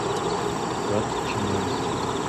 гатчиной